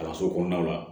Kalanso kɔnɔnaw la